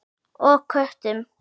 Og köttum.